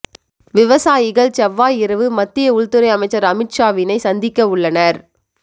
விவசாயிகள் செவ்வாய் இரவு மத்திய உள்துறை அமைச்சர் அமித் ஷாவினை சந்திக்க உள்ளனர்